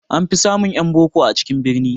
An fi samun ƴan boko a cikin birni